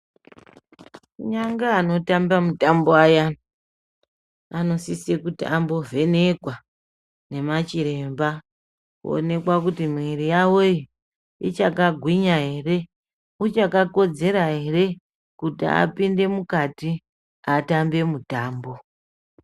Kunyanga anotamba mutambo ayani anosise kuti ambovhenekwa nemachiremba owonekwa kuti miviri yavo ichagwinya hereichakaklodzera here kuti apinde mukati atambe mutambo.